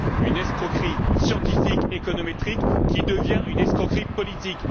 une escroquerie scientifique économétrique qui devient une escroquerie politique.